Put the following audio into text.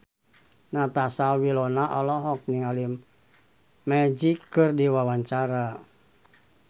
Natasha Wilona olohok ningali Magic keur diwawancara